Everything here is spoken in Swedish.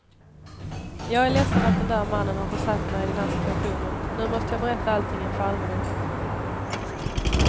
Jag är ledsen att den där mannen har försatt mig i den här situationen, nu måste jag berätta allting inför allmänheten.